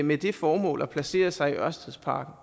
med det formål at placere sig i ørstedsparken